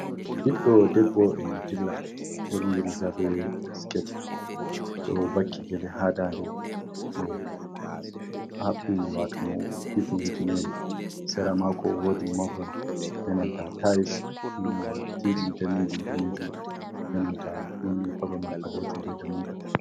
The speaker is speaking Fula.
Ɓiddo debbo e mo dilla ɓorni riga be sket, o ɗo vaki gele ha ndade, mo haɓɓi wato mo hifni hifinere sera mako wodi mahol, benanta tayis nnne dd danejum danejum benanta nunne koloman alejum be dammugal